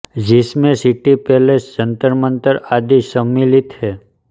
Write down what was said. जिस में City Palace Jantar Mantar आदि समिलित है